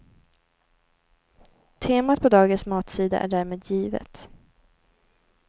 Temat på dagens matsida är därmed givet.